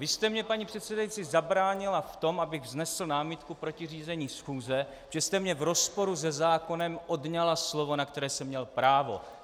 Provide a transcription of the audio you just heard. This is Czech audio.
Vy jste mně, paní předsedající, zabránila v tom, abych vznesl námitku proti řízení schůze, že jste mně v rozporu se zákonem odňala slovo, na které jsem měl právo.